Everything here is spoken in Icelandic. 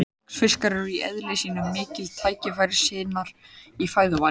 Laxfiskar eru í eðli sínu miklir tækifærissinnar í fæðuvali.